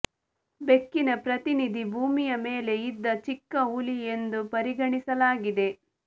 ಬೆಕ್ಕಿನ ಪ್ರತಿನಿಧಿ ಭೂಮಿಯ ಮೇಲೆ ಇದ್ದ ಚಿಕ್ಕ ಹುಲಿ ಎಂದು ಪರಿಗಣಿಸಲಾಗಿದೆ